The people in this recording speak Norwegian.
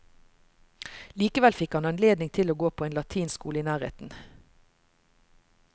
Likevel fikk han anledning til å gå på en latinskole i nærheten.